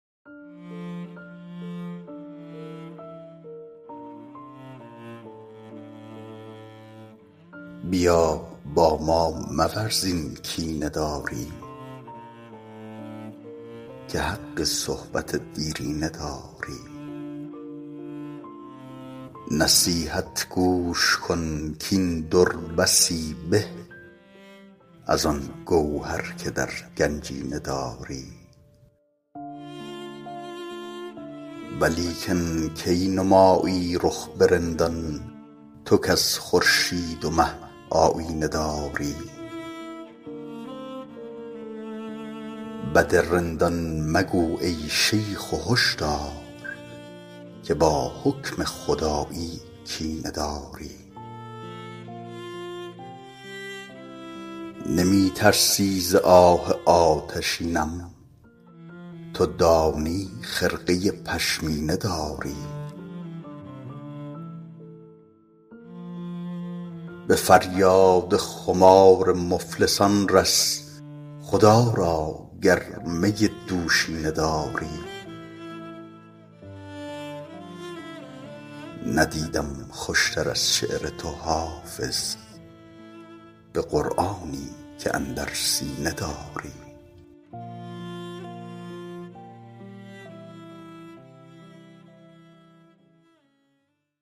بیا با ما مورز این کینه داری که حق صحبت دیرینه داری نصیحت گوش کن کاین در بسی به از آن گوهر که در گنجینه داری ولیکن کی نمایی رخ به رندان تو کز خورشید و مه آیینه داری بد رندان مگو ای شیخ و هش دار که با حکم خدایی کینه داری نمی ترسی ز آه آتشینم تو دانی خرقه پشمینه داری به فریاد خمار مفلسان رس خدا را گر می دوشینه داری ندیدم خوش تر از شعر تو حافظ به قرآنی که اندر سینه داری